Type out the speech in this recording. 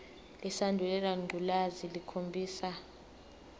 lesandulela ngculazi lukhombisa